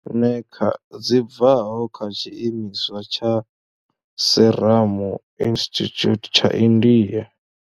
Eneca dzi bvaho kha tshiimiswa tsha Serum Institute tsha India.